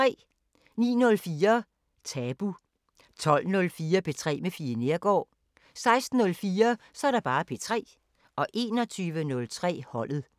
09:04: Tabu 12:04: P3 med Fie Neergaard 16:04: P3 21:03: Holdet